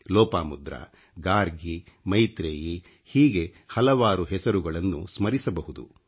ಲೋಪಾಮುದ್ರಾ ಗಾರ್ಗಿ ಮೈತ್ರೆಯೀ ಹೀಗೆ ಹಲವಾರು ಹೆಸರುಗಳನ್ನು ಸ್ಮರಿಸಬಹುದು